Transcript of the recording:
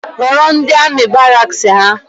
Rọrọ ndi amị baraks ha